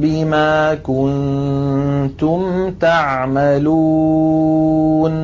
بِمَا كُنتُمْ تَعْمَلُونَ